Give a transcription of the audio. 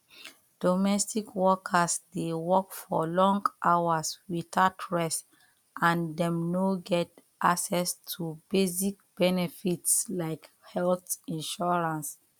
domestic workers dey work for long hours without rest and dem no get access to basic benefits like health insurance